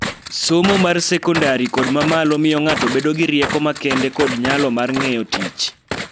Somo mar sekondari kod ma malo miyo ng�ato bedo gi rieko makende kod nyalo mar ng�eyo tich,